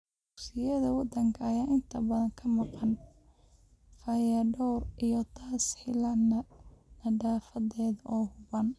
Dugsiyada wadanka ayaa inta badan ka maqan fayadhowr iyo tas-hiilaad nadaafadeed oo habboon.